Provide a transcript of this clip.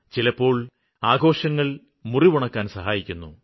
ചിലപ്പോള് ആഘോഷങ്ങള് മുറിവുണക്കാന് സഹായിക്കുന്നു